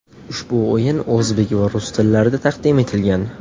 Ushbu o‘yin o‘zbek va rus tillarida taqdim etilgan.